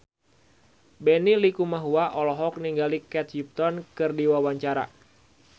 Benny Likumahua olohok ningali Kate Upton keur diwawancara